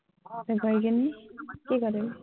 গৈ পিনি কি কৰিবি?